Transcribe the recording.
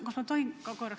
Kas ma tohin korraks ...